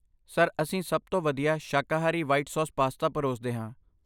Sir, ਅਸੀਂ ਸਭ ਤੋਂ ਵਧੀਆ ਸ਼ਾਕਾਹਾਰੀ ਵ੍ਹਾਈਟ ਸੌਸ ਪਾਸਤਾ ਪਰੋਸਦੇ ਹਾਂ।